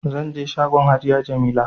Zanje shagon hajiya jamila